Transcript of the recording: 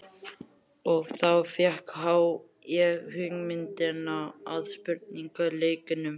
Og þá fékk ég hugmyndina að spurningaleiknum.